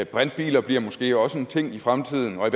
brintbiler bliver måske også en ting i fremtiden og